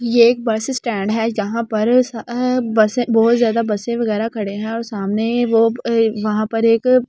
ये एक bus stand है जहां पर अ बसें बहोत ज्यादा बसें वगैरा खड़े हैं और सामने वो ए वहां पर एक--